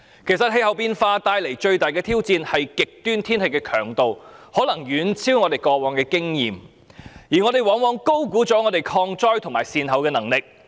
氣候變化帶來的最大挑戰，是極端天氣的強度可以遠超我們過往所經歷，而我們往往高估本港抗災及善後的能力。